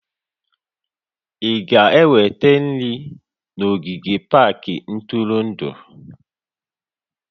Ị ga-eweta nri na ogige pak ntụrụndụ?